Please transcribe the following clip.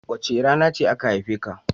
Wace rana aka haife ka?